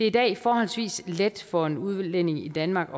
i dag forholdsvis let for en udlænding i danmark